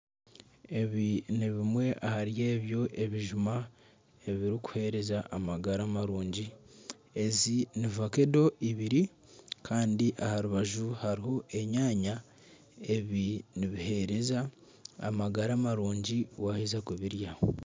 Ebi nibimwe ahari ebyo ebijuma ebiri kuhereza amagara marungi. Ezi ni vakedo ibiri Kandi aharubaju hariho enyaanya. Ebi nibihereza amagara marungi waheza kubirya.